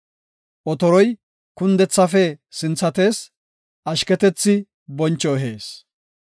Otoroy kundethafe sinthatees; ashketethi boncho ehees.